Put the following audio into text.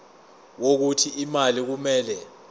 wokuthi imali kumele